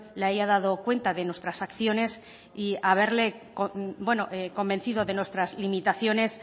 le haya dado cuenta de nuestras acciones y haberle convencido de nuestras limitaciones